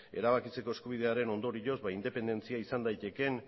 erabakitzeko eskubidearen ondorioz independentzia izan daitekeen